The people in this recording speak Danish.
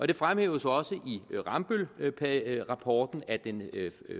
det fremhæves også i rambøllrapporten at den